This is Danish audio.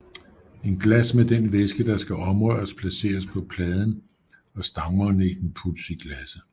Et glas med den væske der skal omrøres placeres på pladen og stangmagneten puttes i glasset